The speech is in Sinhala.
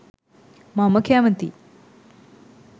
මම කැමතියි.